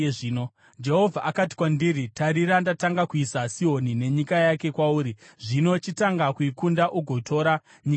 Jehovha akati kwandiri, “Tarira ndatanga kuisa Sihoni nenyika yake kwauri. Zvino chitanga kuikunda ugotora nyika yake.”